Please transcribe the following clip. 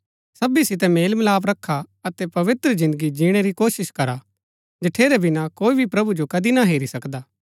सबी सितै मेलमिलाप रखा अतै पवित्र जिन्दगी जिणै री कोशिश करा जठेरै बिना कोई भी प्रभु जो कदी ना हेरी सकदा